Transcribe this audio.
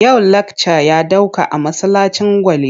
Yau lakca ya ɗauka a masallacin Gwale.